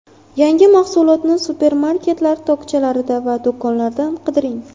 Yangi mahsulotni supermarketlar tokchalarida va do‘konlarda qidiring.